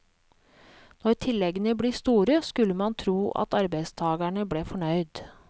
Når tilleggene blir store, skulle man tro at arbeidstagerne ble fornøyd.